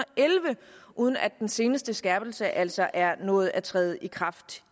elleve uden at den seneste skærpelse altså er nået at træde i kraft